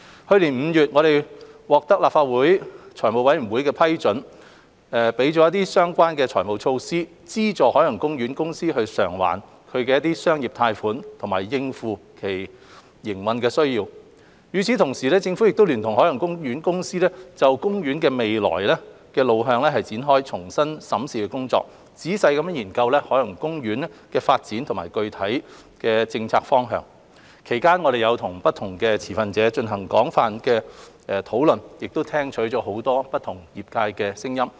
去年5月，我們獲立法會財務委員會批准相關的財務措施，資助海洋公園公司償還其商業貸款及應付其營運需要；與此同時，政府聯同海洋公園公司就公園的未來路向展開重新審視的工作，仔細研究海洋公園的發展及具體政策方向；其間我們與不同的持份者進行了廣泛的討論，亦聽取了業界很多不同的聲音。